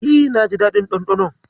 E, naji daɗin ɗanɗanon.